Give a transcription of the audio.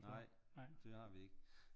Nej det har vi ikke